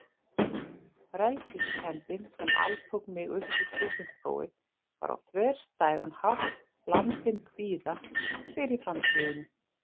Frelsiskenndin sem altók mig uppúr stúdentsprófi var á þverstæðan hátt blandin kvíða fyrir framtíðinni.